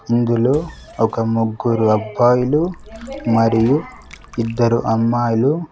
ఇందులో ఒక ముగ్గురు అబ్బాయిలు మరియు ఇద్దరు అమ్మాయిలు.